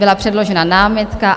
Byla předložena námitka.